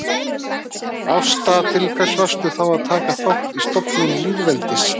Ásta: Til hvers varstu þá að taka þátt í stofnun lýðveldisins